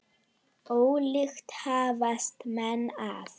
Ólíkt hafast menn að.